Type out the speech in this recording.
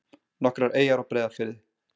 Nokkrar eyjar á Breiðafirði.